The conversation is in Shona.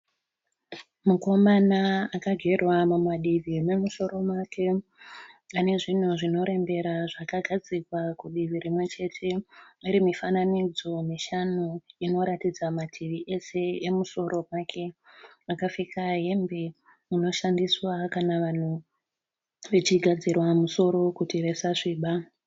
Mukomana akagerwa mumadivi memusoro make. Ane zvinhu zvinorembera zvakagadzirwa kudivi rimwechete. Rine mifananidzo mishanu inoratidza mativi ose emusoro wake. Akapfeka hembe inoshandiswa kana vanhu vachigadzirwa musoro kuti vasasviba.